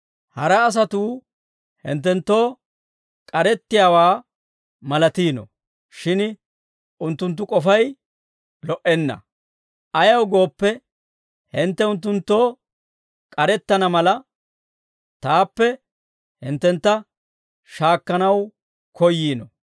Hara asatuu hinttenttoo k'arettiyaawaa malatiino; shin unttunttu k'ofay lo"enna; ayaw gooppe, hintte unttunttoo k'arettana mala, taappe hinttentta shaakkanaw koyyiino.